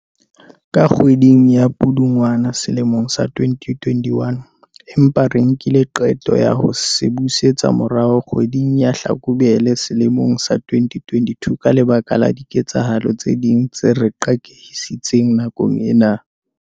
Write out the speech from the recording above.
ka kgwedi ya Pudungwana selemong sa 2021, empa re nkile qeto ya ho se busetsa morao kgwe ding ya Hlakubele sele mong sa 2022 ka lebaka la diketsahalo tse ding tse re qakehisitseng nakong ena.